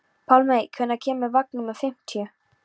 Pálmey, hvenær kemur vagn númer fimmtíu?